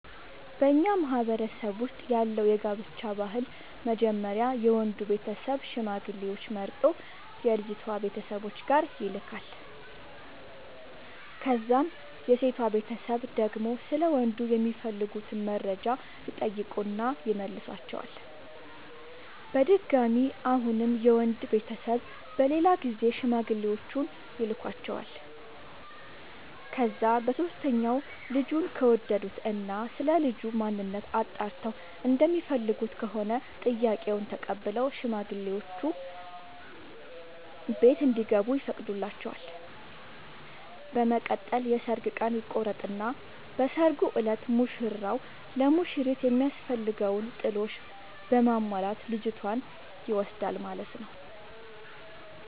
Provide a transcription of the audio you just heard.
በኛ ማህበረሰብ ውስጥ ያለው የጋብቻ ባህል መጀመሪያ የወንዱ ቤተሰብ ሽማግሌዎች መርጦ የልጅቷ ቤተሰብ ጋር ይልካል። ከዛም የሴቷ ቤተሰብ ደግሞ ስለ ወንዱ የሚፈልጉትን መረጃ ይጠይቁና ይመልሷቸዋል። በድጋሚ አሁንም የወንድ ቤተሰብ በሌላ ጊዜ ሽማግሌዎቹን ይልኳቸዋል። ከዛ በሶስተኛው ልጁን ከወደዱት እና ስለልጁ ማንነት አጣርተው እንደሚፈልጉት ከሆነ ጥያቄውን ተቀብለው ሽማግሌዎቹ ቤት እንዲገቡ ይፈቅዱላቸዋል። በመቀጠል የሰርግ ቀን ይቆርጡና በሰርጉ እለት ሙሽራው ለሙሽሪት የሚያስፈልገውን ጥሎሽ በማሟላት ልጅቷን ይወስዳል ማለት ነው።